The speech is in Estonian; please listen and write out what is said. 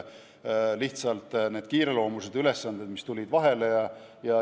Lihtsalt, need kiireloomulised ülesanded tulid vahele.